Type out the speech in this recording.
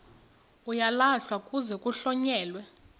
uyalahlwa kuze kuhlonyelwe